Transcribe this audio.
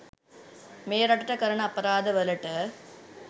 මේ රටට කරන අපරාද වලට.